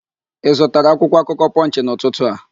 Ị zụtara akwụkwọakụkọ Pọnchị n'ụtụtụ a?